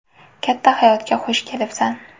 Katta hayotga xush kelibsan.